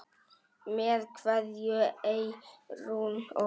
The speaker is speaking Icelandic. Með kveðju, Eyrún Ósk.